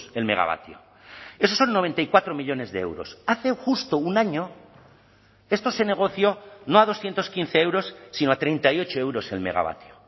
el megavatio esos son noventa y cuatro millónes de euros hace justo un año esto se negoció no a doscientos quince euros sino a treinta y ocho euros el megavatio